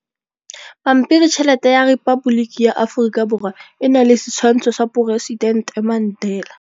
Pampiritšheletê ya Repaboliki ya Aforika Borwa e na le setshwantshô sa poresitentê Mandela.